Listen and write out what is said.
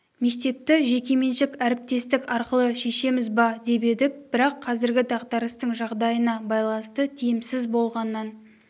мектепті жекеменшік әріптестік арқылы шешеміз ба деп едік бірақ қазіргі дағдарыстың жағдайына байланысты тиімсіз болғаннан